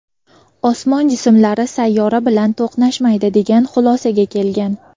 osmon jismlari sayyora bilan to‘qnashmaydi degan xulosaga kelgan.